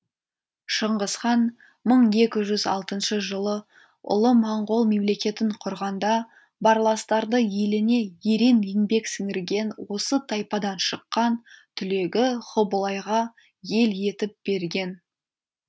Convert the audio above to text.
шыңғысхан мың екі жүз алтыншы жылы ұлы монғол мемлекетін құрғанда барластарды еліне ерен еңбек сіңірген осы тайпадан шыққан түлегі хубылайға ел етіп берген